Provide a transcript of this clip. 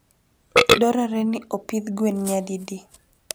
Dwarore ni opidh gwen nyadidi?